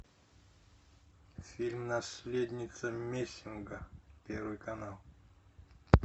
фильм наследница мессинга первый канал